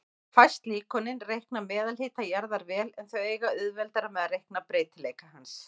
Fæst líkönin reikna meðalhita jarðar vel, en þau eiga auðveldara með að reikna breytileika hans.